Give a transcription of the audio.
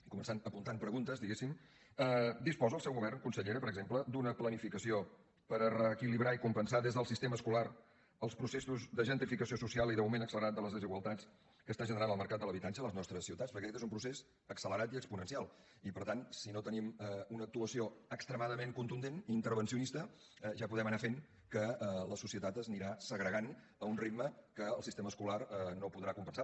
i començant a apuntar preguntes diguéssim disposa el seu govern consellera per exemple d’una planificació per a reequilibrar i compensar des del sistema escolar els processos de gentrificació social i d’augment accelerat de les desigualtats que està generant el mercat de l’habitatge a les nostres ciutats perquè aquest és un procés accelerat i exponencial i per tant si no hi tenim una actuació extremadament contundent i intervencionista ja podem anar fent que la societat s’anirà segregant a un ritme que el sistema escolar no podrà compensar